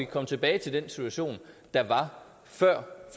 komme tilbage til den situation der var før